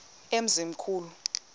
emzimkhulu